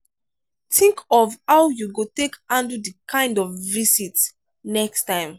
think of how you go take handle di kind of visit next time